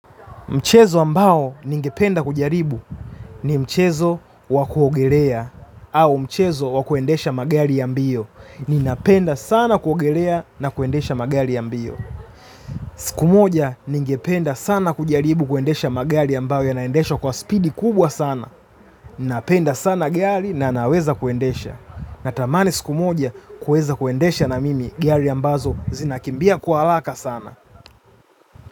Mchezo ambao ningependa kujaribu ni mchezo wa kuogelea au mchezo wakuendesha magari ya mbio. Ninapenda sana kuogelea na kuendesha magari ya mbio. Siku moja ningependa sana kujaribu kuendesha magari ambao yanaendeshwa kwa spidi kubwa sana. Ninapenda sana gari na naweza kuendesha. Natamani siku moja kuweza kuendesha na mimi gari ambazo zinakimbia kwa haraka sana.